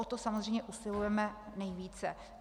O to samozřejmě usilujeme nejvíce.